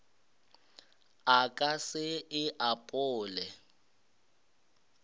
a ka se e apole